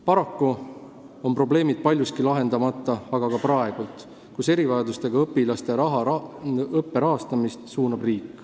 Paraku on probleemid paljuski lahendamata ka praegu, kui erivajadustega õpilaste õppe rahastamist suunab riik.